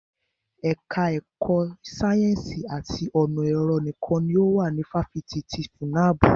Ẹka ẹ̀kọ́ sáyẹ́nsì àti ọ̀nà ẹ̀rọ nìkan ni ó wà ní ifáfitì ti FUNAB.